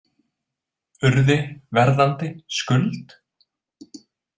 Urði, Verðandi, Skuld?